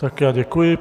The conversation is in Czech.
Tak já děkuji.